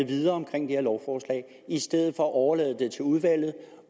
videre om det her lovforslag i stedet for at overlade det til udvalget